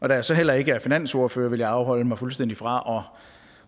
jeg så heller ikke er finansordfører vil jeg afholde mig fuldstændig fra